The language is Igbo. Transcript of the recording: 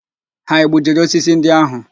Ha egbujiri osisi ndị ahụ?